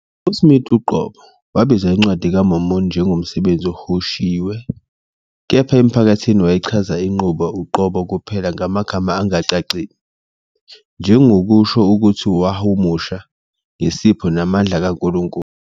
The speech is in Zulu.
USmith uqobo wabiza iNcwadi kaMormoni njengomsebenzi ohunyushiwe, kepha emphakathini wayechaza inqubo uqobo kuphela ngamagama angacacile, njengokusho ukuthi wahumusha "ngesipho namandla kaNkulunkulu."